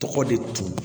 Tɔgɔ de dun